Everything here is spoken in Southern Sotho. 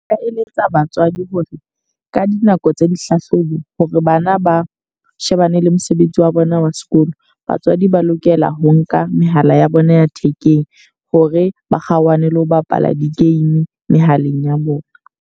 Nka eletsa batswadi hore ka dinako tsa dihlahlobo hore bana ba shebane le mosebetsi wa bona wa sekolo. Batswadi ba lokela ho nka mehala ya bona ya thekeng hore ba kgaohane le ho bapala di game mehaleng ya bona.